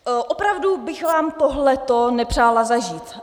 Opravdu bych vám tohle nepřála zažít.